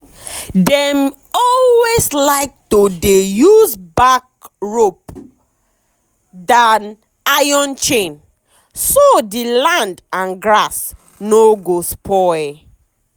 dem always like to dey use bark rope than iron chain so the land and grass no go spoil.